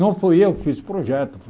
Não fui eu que fiz o projeto.